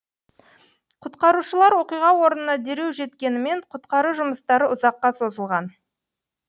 құтқарушылар оқиға орнына дереу жеткенімен құтқару жұмыстары ұзаққа созылған